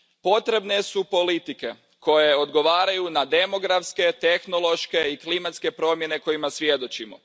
Potrebne su politike koje odgovaraju na demografske, tehnološke i klimatske promjene kojima svjedočimo.